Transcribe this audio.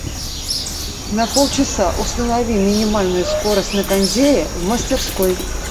на полчаса установи минимальную скорость на кондее в мастерской